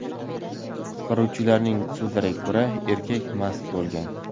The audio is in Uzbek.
Qutqaruvchilarning so‘zlariga ko‘ra, erkak mast bo‘lgan.